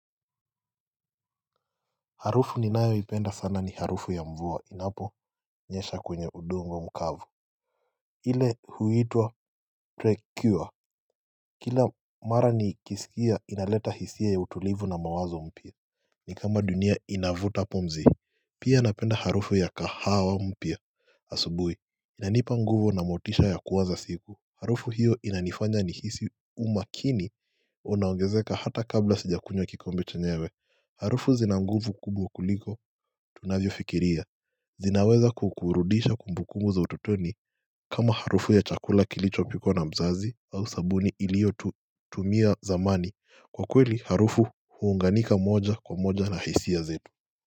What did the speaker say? Harufu ninayoipenda sana ni harufu ya mvua inaponyesha kwenye udongo mkavu ile huitwa trekiwa Kila mara nikiskia inaleta hisia ya utulivu na mawazo mpya Nikama dunia inavuta pumzi Pia napenda harufu ya kahawa mpya asubuhi Inanipa nguvu na motisha ya kuwaza siku Harufu hiyo inanifanya ni hisi umakini unaongezeka hata kabla sijakunywa kikombi chenyewe Harufu zina nguvu kubwa kuliko tunavyo fikiria zinaweza kukurudisha kumbukumbu za utotoni kama harufu ya chakula kilicho pikwanna mzazi au sabuni ilio tumia zamani kwa kweli harufu huunganika moja kwa moja na haisi ya zetu.